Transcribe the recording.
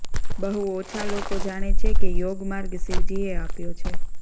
બહુ ઓછા લોકો જાણે છે કે યોગ માર્ગ શિવજીએ આપ્યો છે